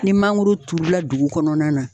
Ni mangoro turula dugu kɔnɔna na